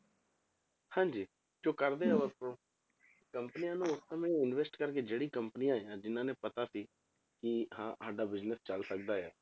ਹਾਂਜੀ ਜੋ ਕਰਦੇ ਕੰਪਨੀਆਂ ਨੂੰ ਉਸ ਸਮੇਂ invest ਕਰਕੇ ਜਿਹੜੀ ਆਈਆਂ ਜਿੰਨਾਂ ਨੂੰ ਪਤਾ ਸੀ ਕਿ ਹਾਂ ਸਾਡਾ business ਚੱਲ ਸਕਦਾ ਆ,